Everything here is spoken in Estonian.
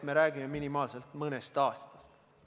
Me räägime minimaalselt mõnest aastast.